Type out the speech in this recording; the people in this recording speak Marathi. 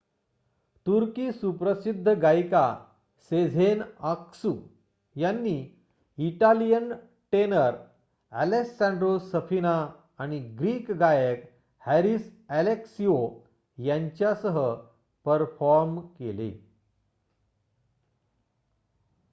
तुर्की सुप्रसिद्ध गायिका सेझेन आक्सू यांनी इटालियन टेनर ॲलेसँड्रो सफिना आणि ग्रीक गायक हॅरिस ॲलेक्सिओ यांच्यासह परफॉर्म केले